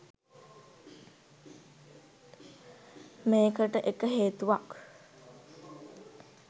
මේකට එක හේතුවක්.